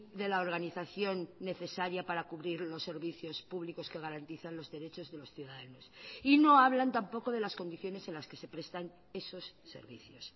de la organización necesaria para cubrir los servicios públicos que garantizan los derechos de los ciudadanos y no hablan tampoco de las condiciones en las que se prestan esos servicios